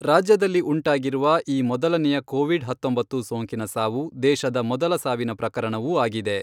ರಾಜ್ಯದಲ್ಲಿ ಉಂಟಾಗಿರುವ ಈ ಮೊದಲನೆಯ ಕೋವಿಡ್ ಹತ್ತೊಂಬತ್ತು ಸೋಂಕಿನ ಸಾವು, ದೇಶದ ಮೊದಲ ಸಾವಿನ ಪ್ರಕರಣವೂ ಆಗಿದೆ.